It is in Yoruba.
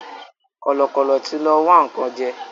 Kọ̀lọ̀kọ̀lọ̀ tí lọ wá nǹkan jẹ́